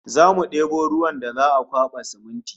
Zamu debo ruwan da za'a kwaba siminti